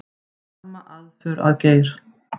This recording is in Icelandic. Harma aðför að Geir